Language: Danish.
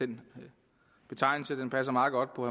den betegnelse passer meget godt på